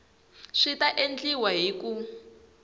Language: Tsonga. swi ta endliwa hi ku